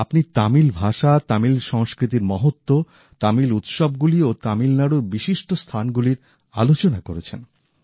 আপনি তামিল ভাষা তামিল সংস্কৃতির মহত্ব তামিল উৎসবগুলি ও তামিলনাড়ুর বিশিষ্ট স্থানগুলির আলোচনা করেছেন